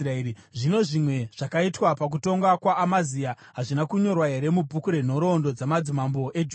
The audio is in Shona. Zvino zvimwe zvakaitwa pakutonga kwaAmazia, hazvina kunyorwa here mubhuku renhoroondo dzamadzimambo eJudha?